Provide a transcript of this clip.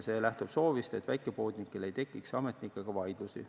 See lähtub soovist, et väikepoodnikel ei tekiks ametnikega vaidlusi.